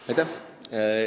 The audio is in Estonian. Aitäh!